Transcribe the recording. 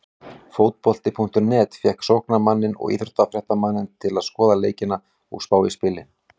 Fótbolti.net fékk sóknarmanninn og íþróttafréttamanninn til að skoða leikina og spá í spilin.